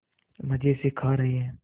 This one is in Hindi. मज़े से खा रहे हैं